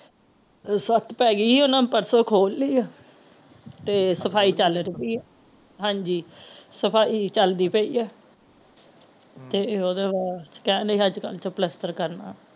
ਓ ਸੋਫਤ ਪੈ ਗਯੀ ਆ ਓਹਨਾ ਪਰਸੋ ਖੋਲ ਲਈ ਆ ਤੇ ਸਫਾਈ ਚਲਦੀ ਪਈ ਆ ਹਾਂਜੀ ਸਫਾਈ ਚਲਦੀ ਪਈ ਆ ਤੇ ਉਹ ਜੇਰਾ ਸਟੈਂਡ ਏ ਅਜ ਕਲ ਚ ਪਲੱਸਤਰ ਕਰਨਾ ਆ